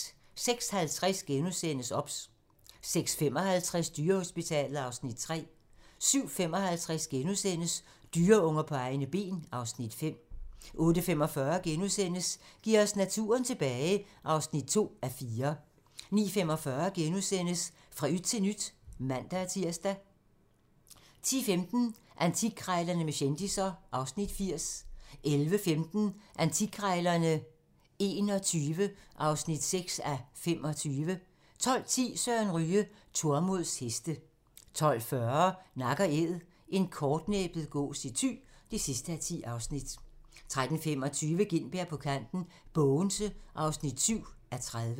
06:50: OBS * 06:55: Dyrehospitalet (Afs. 3) 07:55: Dyreunger på egne ben (Afs. 5)* 08:45: Giv os naturen tilbage (2:4)* 09:45: Fra yt til nyt *(man-tir) 10:15: Antikkrejlerne med kendisser (Afs. 80) 11:15: Antikkrejlerne XXI (6:25) 12:10: Søren Ryge: Tormods heste 12:40: Nak & Æd - en kortnæbbet gås i Thy (10:10) 13:25: Gintberg på kanten - Bogense (7:30)